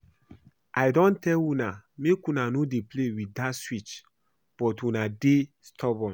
I don tell una make una no dey play with dat switch but una dey stubborn